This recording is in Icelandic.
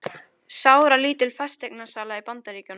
Sáralítil fasteignasala í Bandaríkjunum